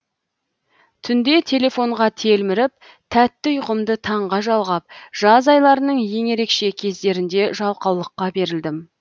түнде телефонға телміріп тәтті ұйқымды таңға жалғап жаз айларының ең ерекше кездерінде жалқаулыққа берілдім